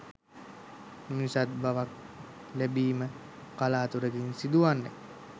මිනිසත් බවක් ලැබීම කලාතුරකින් සිදුවන්නකි.